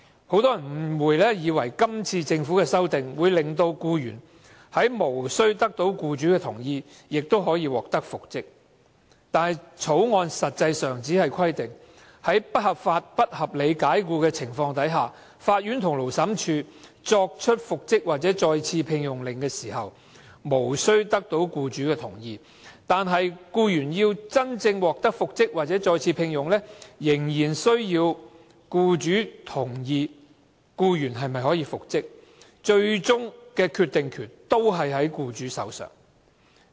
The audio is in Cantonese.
很多人誤會政府今次提出的《條例草案》，能令僱員在無須得到僱主的同意下亦能復職，但《條例草案》實際上只是規定，僱員若遭不合理及不合法解僱，法院和勞審處作出復職或再次聘用的命令時，無須得到僱主的同意，但僱員要真正獲得復職或再次聘用，仍需要僱主同意，最終的決定權仍在僱主手上。